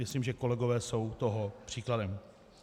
Myslím, že kolegové jsou toho příkladem.